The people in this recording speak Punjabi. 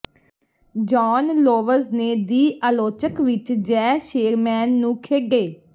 ਜੌਨ ਲੋਵਜ਼ ਨੇ ਦਿ ਆਲੋਚਕ ਵਿਚ ਜੈ ਸ਼ੇਰਮੈਨ ਨੂੰ ਖੇਡੇ